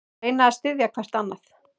Reyna að styðja hvert annað